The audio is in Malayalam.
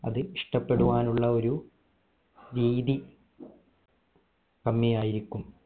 അത് ഇഷ്ട്ടപ്പെടുവാനുള്ള ഒരു രീതി തന്നെ ആയിരിക്കും